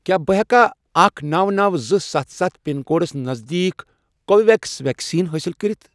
کیٛاہ بہٕ ہیٚکیا اکھَ، نوَ، نوَ، زٕ، ستھ، ستھ، پِن کوڈس نزدیٖک کو وِو ویٚکس ویکسیٖن حٲصِل کٔرِتھ؟